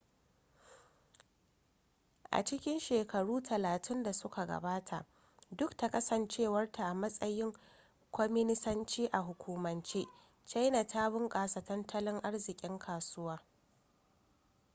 a cikin shekaru talatin da suka gabata duk da kasancewarta a matsayin kwaminisanci a hukumance china ta bunkasa tattalin arzikin kasuwa